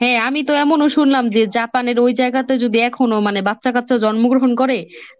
হ্যাঁ আমি তো এমনও শুনলাম যে জাপানের ওই জায়গাতে যদি এখনো মানে বাচ্চাকাচ্চা জন্মগ্রহণ করে